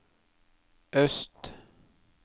øst